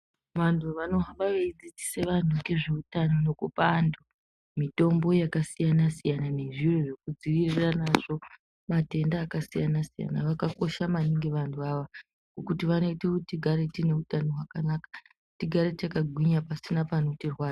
Vantu vanohamba veidzidzise vantu ngezveutano nekupa antu mitombo yakasiyana-siyana nezviro zvekudzivirira nazvo matenda akasiyana-siyana vakakosha maningi vanhu ava ngokuti vanoite kuti tigare tineutano hwakanaka, tigare takagwinya pasina panotirwadza..